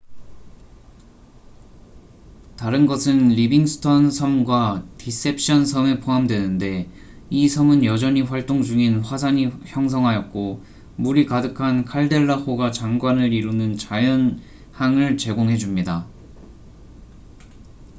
다른 것은 리빙스턴 섬과 디셉션 섬이 포함되는데 이 섬은 여전히 활동 중인 화산이 형성하였고 물이 가득한 칼데라호가 장관을 이루는 자연항을 제공해 줍니다